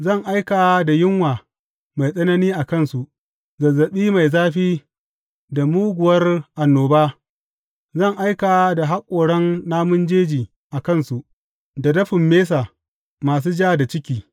Zan aika da yunwa mai tsanani a kansu, zazzaɓi mai zafi da muguwar annoba; zan aika da haƙoran namun jeji a kansu, da dafin mesa masu ja da ciki.